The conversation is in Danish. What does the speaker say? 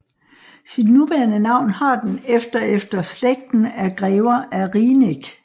Sit nuværende navn har den efter efter slægten af Grever af Rieneck